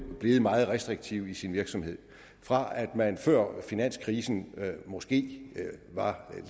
blevet meget restriktivt i sin virksomhed fra at man før finanskrisen måske var